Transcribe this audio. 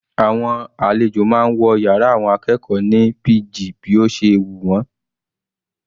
Àwọn àlejò máa ń wọ yàrá àwọn akẹ́kọ̀ọ́ ní pg bí ó ṣe wù wọ́n.